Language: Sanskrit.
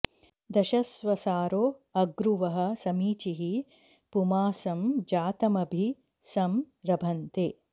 दश॒ स्वसा॑रो अ॒ग्रुवः॑ समी॒चीः पुमां॑सं जा॒तम॒भि सं र॑भन्ते